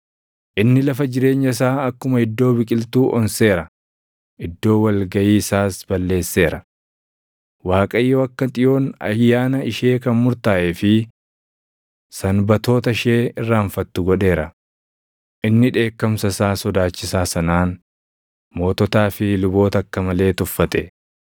Inni lafa jireenya isaa akkuma iddoo biqiltuu onseera; iddoo wal gaʼii isaas balleesseera. Waaqayyo akka Xiyoon ayyaana ishee kan murtaaʼee fi Sanbatoota ishee irraanfattu godheera; inni dheekkamsa isaa sodaachisaa sanaan moototaa fi luboota akka malee tuffate.